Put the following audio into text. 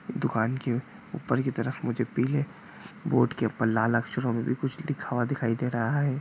दुकान की ऊपर की तरफ मुझे पीले बोर्ड के ऊपर लाल अक्षरों में भी कुछ लिखा हुआ दिखाई दे रहा हैं।